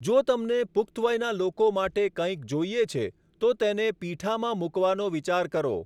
જો તમને પુખ્ત વયના લોકો માટે કંઇક જોઈએ છે, તો તેને પીઠામાં મૂકવાનો વિચાર કરો.